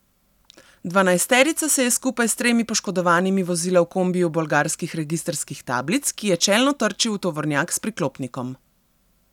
Dvanajsterica se je skupaj s tremi poškodovanimi vozila v kombiju bolgarskih registrskih tablic, ki je čelno trčil v tovornjak s priklopnikom.